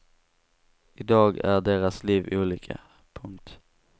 I dag är deras liv olika. punkt